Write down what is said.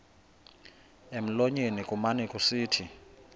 emlonyeni kumane kusithi